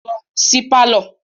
Lọ sí pálọ̀